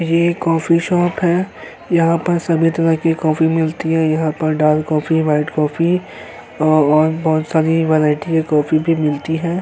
ये coffee shop है। यहाँ पर सभी तरह की कॉफी मिलती हैं। यहाँ पर डार्क कॉफी व्हाइट कॉफी और बोहोत सारी वैरायटी की कॉफी भी मिलती है।